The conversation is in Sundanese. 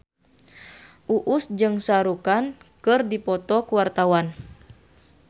Uus jeung Shah Rukh Khan keur dipoto ku wartawan